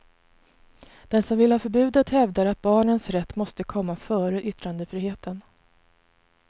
De som vill ha förbudet hävdar att barnens rätt måste komma före yttrandefriheten.